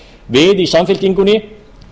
við í samfylkingunni